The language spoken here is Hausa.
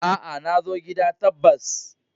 Aa, na zo gida ta bas.